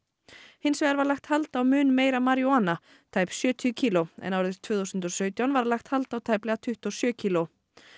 hins vegar var lagt hald á mun meira maríjúana tæp sjötíu kíló en árið tvö þúsund og sautján var lagt hald á tæplega tuttugu og sjö kíló